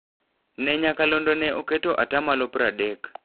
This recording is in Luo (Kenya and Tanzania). Ne nyakalondo ne oketo atamalo pradek.